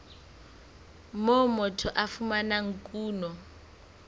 moo motho a fumanang kuno